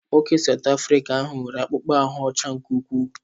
Nwoke South Afrịca ahụ nwere akpụkpọ ahụ́ ọcha nke ukwuu.